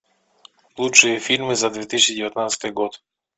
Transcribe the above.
лучшие фильмы за две тысячи девятнадцатый год